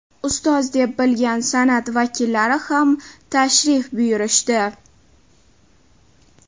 Ustoz deb bilgan san’at vakillari ham tashrif buyurishdi.